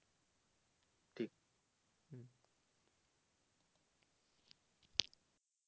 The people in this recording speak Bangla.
ঠিক